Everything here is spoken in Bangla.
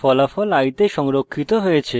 ফলাফল i the সংরক্ষিত হয়েছে